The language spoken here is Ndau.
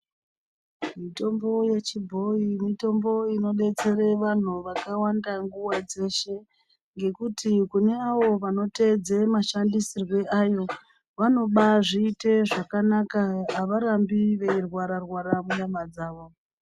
Mitombo yechiboyi mitombo inodetsere vantu vakawanda nguwa dzeshe ngekuti kuneavo vanotedze mashandisirwe ayo vanobazvite zvakanaka avarambi veirwara rwara munyama dzavo.